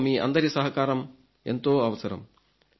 ఇందులో మీ అందరి సహకారం ఎంతో అవసరం